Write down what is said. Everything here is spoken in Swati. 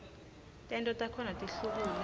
tento takhona tihlukule